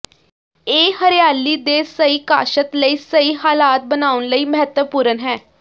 ਇਹ ਹਰਿਆਲੀ ਦੇ ਸਹੀ ਕਾਸ਼ਤ ਲਈ ਸਹੀ ਹਾਲਾਤ ਬਣਾਉਣ ਲਈ ਮਹੱਤਵਪੂਰਨ ਹੈ